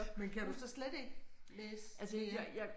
Men kan du så slet ikke læse mere